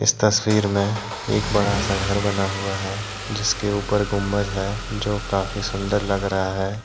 इस तस्वीर में एक बड़ा सा घर बना हुआ है जिसके ऊपर गुंबज है जो काफी सुंदर लग रहा है।